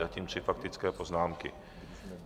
Zatím tři faktické poznámky.